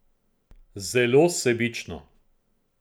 Zelo sebično.